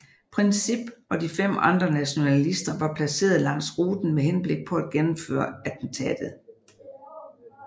Princip og fem andre nationalister var placeret langs ruten med henblik på at gennemføre attentatet